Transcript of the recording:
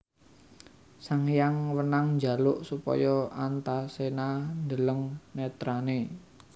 Sanghyang Wenang njaluk supaya Antaséna ndeleng netrané